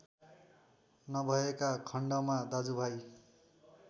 नभएका खण्डमा दाजुभाइ